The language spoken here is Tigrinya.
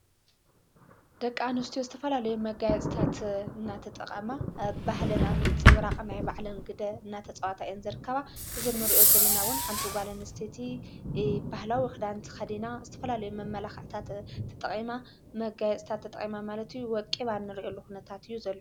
ደቂ ኣነስትዮ ዝተፈላለዩ መጋየፂታት እናተጠቐማ ባህለ ናብ ምንጽ ብራቕ ናይ ባዕለም ግደ እናተጸዋታ የንዘርከባ ። እዝንርእዮ ዘለናውን ሓንቲ ጓለንስተቲ ባህላዊ ውኽዳንቲ ኸዲና ዝተፈላለይ መመላኽእታት ተጠቐማ መጋያጽታት ተጠቐማ ማለቱ ወቂባ ንርእየሉ ኹነታት ዩዘሉ።